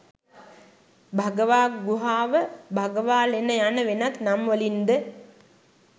භගවා ගුහාව, භගවාලෙන යන වෙනත් නම් වලින් ද